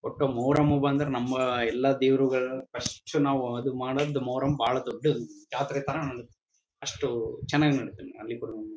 ಒಟ್ಟು ಮೊಹರಂ ಬಂದ್ರೆ ನಮ್ಮ ಎಲ್ಲಾ ದೇವರುಗಳನ್ನೂ ಫಸ್ಟು ನಾವು ಅದು ಮಾಡೋದು ಮೊಹರಂ ಬಹಳ ದೊಡ್ಡ ಜಾತ್ರೆ ಥರ ಅಷ್ಟು ಚನಾಗ್ ಮಾಡ್ತಾರೆ ಅಲ್ಲಿಗರು